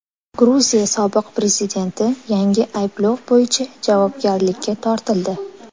Gruziya sobiq prezidenti yangi ayblov bo‘yicha javobgarlikka tortildi.